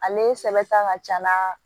Ale sɛbɛn ta ka ca n'a